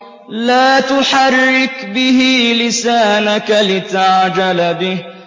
لَا تُحَرِّكْ بِهِ لِسَانَكَ لِتَعْجَلَ بِهِ